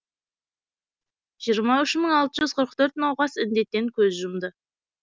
жиырма үш мың алты жүз қырық төрт науқас індеттен көз жұмды